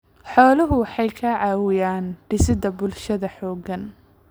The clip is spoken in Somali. Xooluhu waxay ka caawiyaan dhisidda bulsho xooggan.